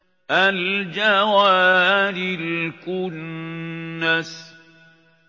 الْجَوَارِ الْكُنَّسِ